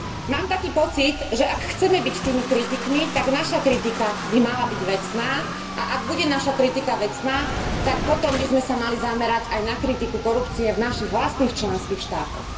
Mám však taký pocit, že ak chceme byť tými kritikmi, tak naša kritika by mala byť vecná, a ak bude naša kritika vecná, tak potom by sme sa mali zamerať aj na kritiku korupcie v našich vlastných členských štátoch.